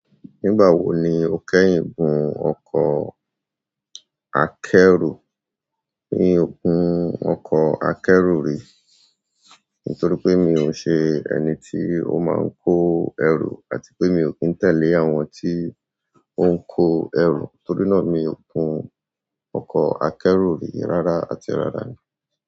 Nígbà wo ni ó kẹ́yìn gun ọkọ̀ akẹ́rù? Mi ò gun ọkọ̀ akẹ́rù rí, nítorí pé mi ò ṣe ẹni tí ó máa ń kó ẹrù àti pé mi ò kí ń tẹ̀lé àwọn tí ó ń kó ẹrù. Torí náà, mi ò gun ọkọ̀ akẹ́rù rí rárá àti ràrá ni.